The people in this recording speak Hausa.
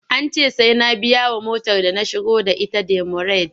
An ce sai na biyawa motar da na shigo da ita demurej.